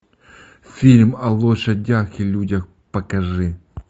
фильм о лошадях и людях покажи